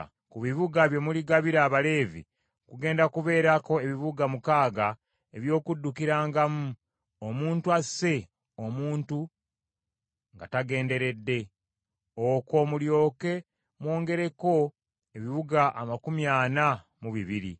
“Ku bibuga bye muligabira Abaleevi kugenda kubeerako ebibuga mukaaga eby’okuddukirangamu, omuntu asse omuntu nga tagenderedde. Okwo mulyoke mwongereko ebibuga amakumi ana mu bibiri.